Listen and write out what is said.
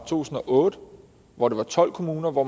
tusind og otte hvor der var tolv kommuner hvor